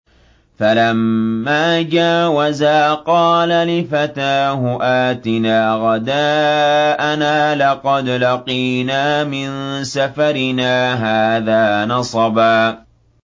فَلَمَّا جَاوَزَا قَالَ لِفَتَاهُ آتِنَا غَدَاءَنَا لَقَدْ لَقِينَا مِن سَفَرِنَا هَٰذَا نَصَبًا